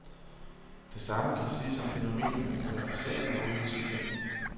Det samme kan siges om fænomenerne privatisering og udlicitering.